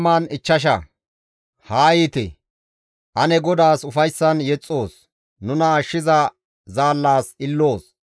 Haa yiite! Ane GODAAS ufayssan yexxoos; nuna ashshiza zaallas ililoos.